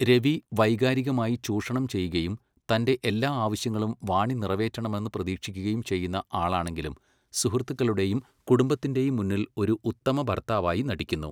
രവി വൈകാരികമായി ചൂഷണം ചെയ്യുകയും തൻ്റെ എല്ലാ ആവശ്യങ്ങളും വാണി നിറവേറ്റണമെന്ന് പ്രതീക്ഷിക്കുകയും ചെയ്യുന്ന ആളാണെങ്കിലും സുഹൃത്തുക്കളുടെയും കുടുംബത്തിൻ്റെയും മുന്നിൽ ഒരു ഉത്തമ ഭർത്താവായി നടിക്കുന്നു.